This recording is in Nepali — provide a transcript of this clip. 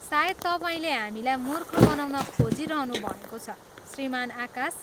सायद तपाईँले हामीलाई मूर्ख बनाउन खोजिरहनुभएको छ, श्रीमान आकाश।